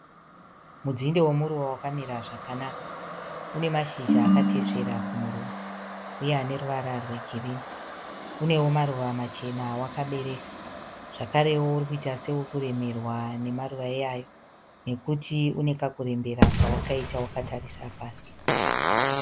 Mudzinde womuruva wakamira zvakanaka. Une mashizha akatesvera kumuromo uye aneruvara rwegirinhi. Unewo maruva machena awakabereka zvakarewo urikuita seurikuremerwa nemaruva iwayo, nekuti unekakurembera kawakaita wakatarisa pasi.